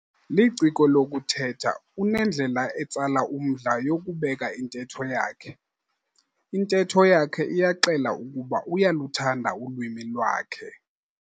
Liciko lokuthetha unendlela etsala umdla yokubeka intetho yakhe. Intetho yakhe iyaxela ukuba uyaluthanda ulwimi lwakhe